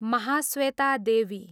Mahasweta Devi